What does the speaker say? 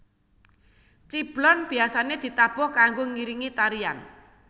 Ciblon biasane ditabuh kanggo ngiringi tarian